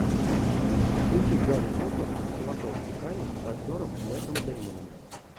включи гарри поттер и философский камень с актером мэттом деймоном